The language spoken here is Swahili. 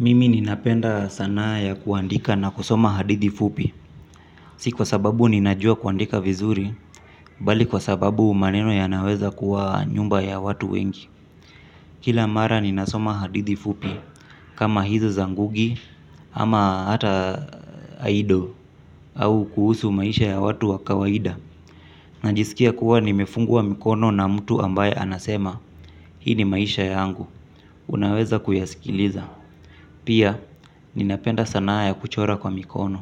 Mimi ninapenda sanaa ya kuandika na kusoma hadithi fupi. Si kwa sababu ninajua kuandika vizuri bali kwa sababu maneno yana weza kuwa nyumba ya watu wengi. Kila mara ninasoma hadithi fupi. Kama hizo za ngugi ama hata aido au kuhusu maisha ya watu wa kawaida. Najisikia kuwa nimefungwa mikono na mtu ambaye anasema hii ni maisha yangu. Unaweza kuyasikiliza. Pia, ninapenda sanaa ya kuchora kwa mikono,